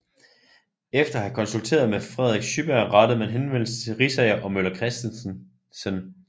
Efter at have konsulteret med Frederik Schyberg rettede man henvendelse til Riisager og Møller Kristensen